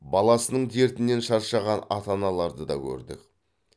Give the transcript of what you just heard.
баласының дертінен шаршаған ата аналарды да көрдік